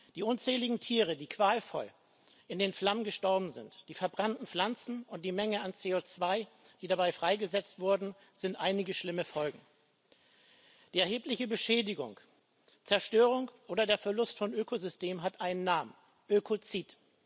Die unzähligen Tiere, die qualvoll in den Flammen gestorben sind, die verbrannten Pflanzen und die Menge an CO2, die dabei freigesetzt wurde, sind einige schlimme Folgen. Die erhebliche Beschädigung, Zerstörung oder der Verlust von Ökosystem hat einen Namen Ökozid.